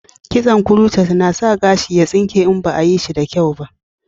Kitson kuroshet na sa gashi ya tsinke in ba a yi shi da kyau ba